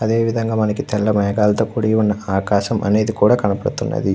అదే విధం గ తెల్ల మేగాల్లతో కుడి వున్నా ఆకాశం అనేది కనబడుతుంది.